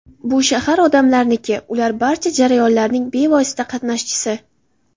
Bu shahar odamlarniki, ular barcha jarayonlarning bevosita qatnashchisi.